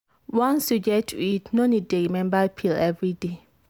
once you get iud no need dey remember pill every day.